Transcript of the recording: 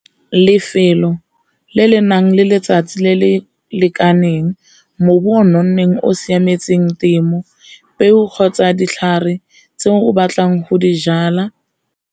Lefelo le le nang le letsatsi le le lekaneng, o nonneng o siametseng temo, peo kgotsa ditlhare tse o batlang go di jala.